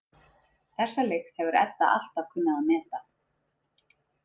Þessa lykt hefur Edda alltaf kunnað að meta.